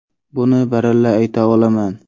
Buni baralla ayta olaman.